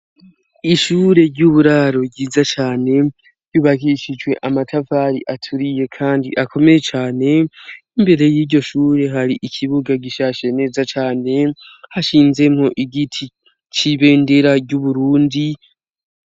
ishure ry'uburaro ryiza cane yubakishijwe amatafari aturiye kandi akomeye cane imbere y'iryo shure hari ikibuga gishashe neza cane hashinzemo igiti cibendera ry'uburundi